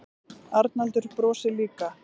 Arnaldur brosir líka.